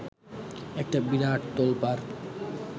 একটা বিরাট তোলপাড়